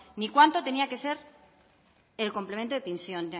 ni cuánto tenía que ser el complemento de pensiones